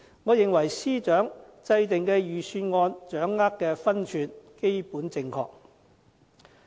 我認為司長制訂的預算案掌握的分寸基本正確。